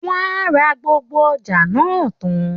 Wọ́n a ra gbogbo ọjà náà tán